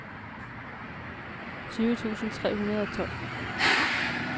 tyve tusind tre hundrede og tolv